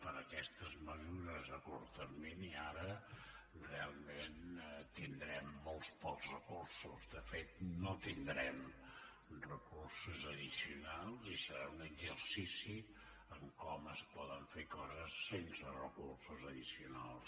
per aquestes mesures a curt termini ara realment tindrem molts pocs recursos de fet no tindrem recursos addicionals i serà un exercici de com es poden fer coses sense recursos addicionals